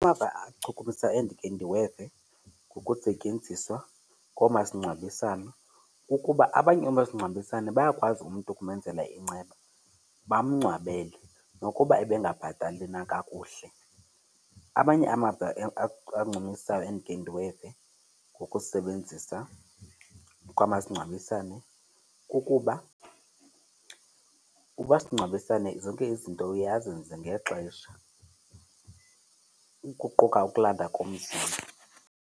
Amava achukumisayo endikhe ndiweve ngokusetyenziswa koomasingcwabisane kukuba abanye oomasingcwabisane bayakwazi umntu ukumenzela inceba bamngcwabele nokuba ebengabhatali na kakuhle. Amanye amava ancumisayo endikhe ndiweve ngokusebenzisa kwamasingcwabisane kukuba umasingcwabisane zonke izinto uye azenze ngexesha, ukuquka ukulandwa komzimba.